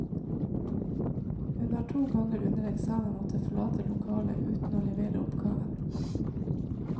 Hun har to ganger under eksamener måttet forlate lokalet uten å levere oppgaven.